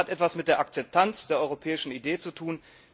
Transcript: Das hat etwas mit der Akzeptanz der europäischen Idee zu tun.